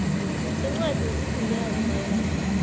sencwadi yesigunyazo mayelana